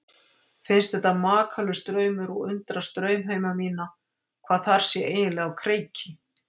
Finnst þetta makalaus draumur og undrast draumheima mína, hvað þar sé eiginlega á kreiki.